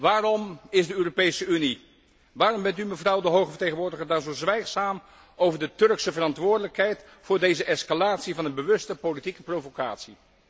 Waarom is de Europese Unie, waarom bent u, mevrouw de hoge vertegenwoordiger, daar zo zwijgzaam over de Turkse verantwoordelijkheid voor deze escalatie van een bewuste politieke provocatie?